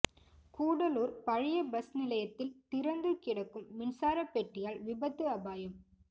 கூடலூர் பழைய பஸ் நிலையத்தில் திறந்து கிடக்கும் மின்சார பெட்டியால் விபத்து அபாயம்